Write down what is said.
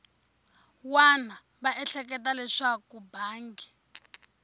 wana va ehleketa leswaku mbangi